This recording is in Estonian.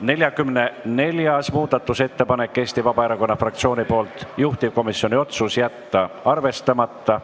44. muudatusettepanek on Eesti Vabaerakonna fraktsioonilt, juhtivkomisjoni otsus: jätta arvestamata.